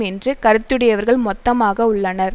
என்று கருத்துடையவர்கள் மொத்தமாக உள்ளனர்